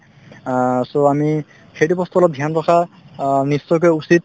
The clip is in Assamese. আ so আমি সেইটো বস্তু অলপ dhyan ৰখা অ নিশ্চয়কৈ উচিত